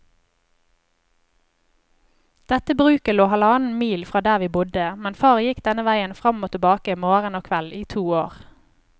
Dette bruket lå halvannen mil fra der vi bodde, men far gikk denne veien fram og tilbake morgen og kveld i to år.